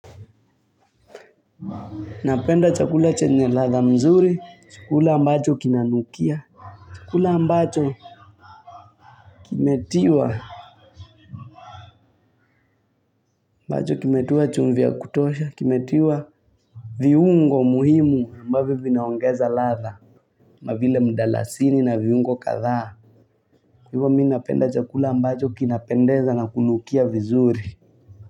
Napenda chakula chenye ladha mzuri, chakula ambacho kinanukia. Chakula ambacho kimetiwa, ambacho kimetiwa chumvi ya kutosha, kimetiwa. Viungo muhimu ambavyo vinaongeza ladha, ma vile mdalasini na viungo kadhaa. Ivo mi napenda chakula ambacho kinapendeza na kunukia vizuri.